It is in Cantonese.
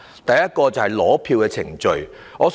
第一點是取選票的程序。